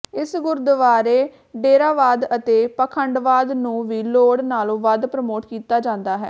ਇਸ ਗੁਰਦੁਆਰੇ ਡੇਰਾਵਾਦ ਅਤੇ ਪਾਖੰਡਵਾਦ ਨੂੰ ਵੀ ਲੋੜ ਨਾਲੋਂ ਵਧ ਪ੍ਰਮੋਟ ਕੀਤਾ ਜਾਂਦਾ ਹੈ